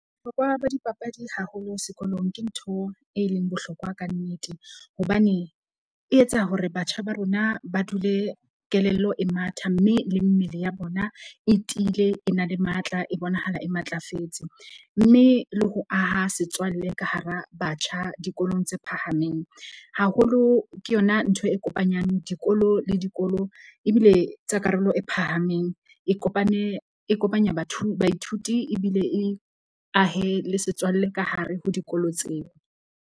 Bohlokwa ba dipapadi haholo sekolong ke ntho e leng bohlokwa ka nnete. Hobane e etsa hore batjha ba rona ba dule kelello e matha mme le mmele ya bona e tiile, e na le matla, e bonahala e matlafetse. Mme le ho aha setswalle ka hara batjha dikolong tse phahameng. Haholo ke yona ntho e kopanyang dikolo le dikolo ebile tsa karolo e phahameng e kopane e kopanya baithuti ebile e ahe le setswalle ka hare ho dikolo tseo.